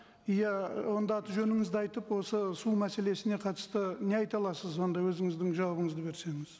иә онда аты жөніңізді айтып осы су мәселесіне қатысты не айта аласыз онда өзіңіздің жауабыңызды берсеңіз